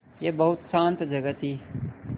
यह बहुत शान्त जगह थी